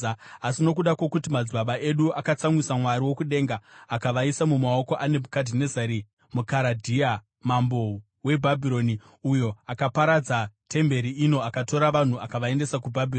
Asi nokuda kwokuti madzibaba edu akatsamwisa Mwari wokudenga, akavaisa mumaoko aNebhukadhinezari muKaradhea, mambo weBhabhironi, uyo akaparadza temberi ino akatora vanhu akavaendesa kuBhabhironi.